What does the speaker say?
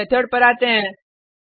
अब इस मेथड पर आते हैं